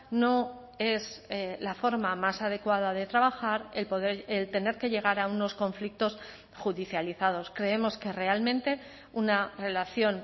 no es la forma más adecuada de trabajar el tener que llegar a unos conflictos judicializados creemos que realmente una relación